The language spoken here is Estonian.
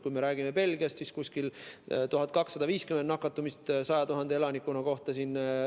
Kui me räägime Belgiast, siis seal oli umbes 1250 nakatumist 100 000 elaniku kohta.